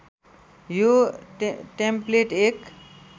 यो टेम्प्लेट एक